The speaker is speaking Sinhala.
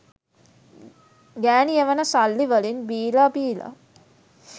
ගෑණි එවන සල්ලි වලින් බීලා බීලා